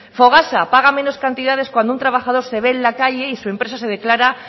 fogasa paga menos cantidades cuando un trabajador se ve en la calle y su empresa se declara